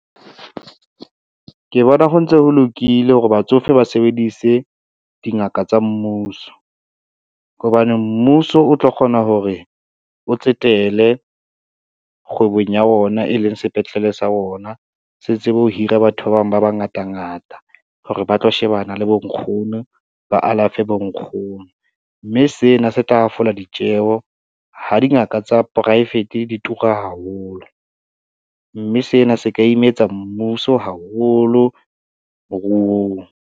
Ke bona ho ntse ho lokile hore batsofe ba sebedise dingaka tsa mmuso, hobane mmuso o tlo kgona hore o tsetele kgwebong ya ona e leng sepetlele sa ona. Se tsebe ho hira batho ba bang ba ba ngatangata hore ba tlo shebana le bonkgono, ba alafe bonkgono, mme se sena se tla hafola ditjeho ha dingaka tsa poraefete di tura haholo, mme sena se ka imetsa mmuso haholo moruong.